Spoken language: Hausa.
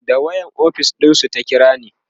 da wayan ofis ɗinsu ta kirani